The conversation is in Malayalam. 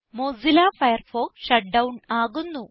മോസില്ല ഫയർഫോക്സ് ഷട്ട് ഡൌൺ ആകുന്നു